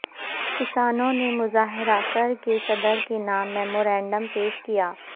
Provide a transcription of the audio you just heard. کسانوں نے مظاہرہ کر کے صدر کے نام میمورنڈم پیش کیا